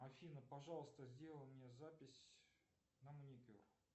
афина пожалуйста сделай мне запись на маникюр